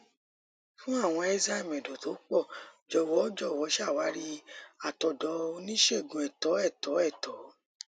fún àwọn enzyme ẹdọ tó pọ jọ̀wọ́ jọ̀wọ́ ṣàwárí àtọ̀dọ̀ oníṣègùn ẹ̀tọ́ ẹ̀tọ́ ẹ̀tọ́